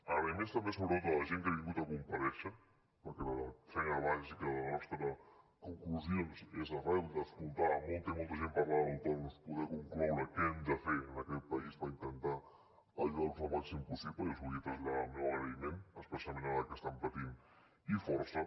agraïments també sobretot a la gent que ha vingut a comparèixer perquè la feina bàsica de les nostres conclusions és arran d’escoltar molta i molta gent parlar d’autònoms poder concloure què hem de fer en aquest país per intentar ajudar los al màxim possible i els volia traslladar el meu agraïment especialment ara que estan patint i força